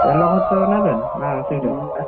ତେଲ ଖର୍ଚ୍ଚ ନେବେ ନା ନା? ସେଇଥିରେ